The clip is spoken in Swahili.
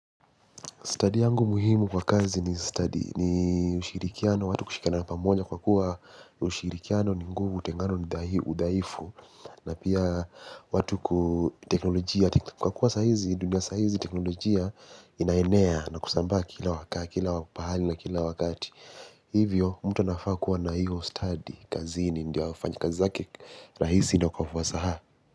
Stadi yangu muhimu kwa kazi ni ushirikiano, watu kushikiana na pamoja kwa kuwa ushirikiano ni nguvu, utengano ni udhaifu, na pia watu kuteknolojia, kwa kuwa saizi, dunia saizi, teknolojia inaenea na kusambaa kila waka, kila pahali na kila wakati. Hivyo, mtu anafaa kuwa na hiyo stadi, kazini ndio afanye zake rahisi na kwa ufasaha.